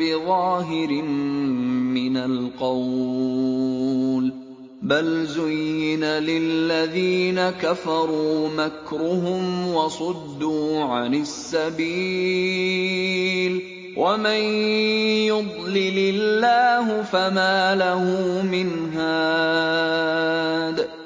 بِظَاهِرٍ مِّنَ الْقَوْلِ ۗ بَلْ زُيِّنَ لِلَّذِينَ كَفَرُوا مَكْرُهُمْ وَصُدُّوا عَنِ السَّبِيلِ ۗ وَمَن يُضْلِلِ اللَّهُ فَمَا لَهُ مِنْ هَادٍ